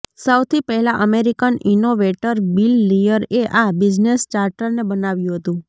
સૌથી પહેલા American innovator Bill Lear એ આ બિઝનેસ ચાર્ટરને બનાવ્યું હતું